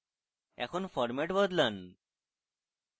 এখন format বদলান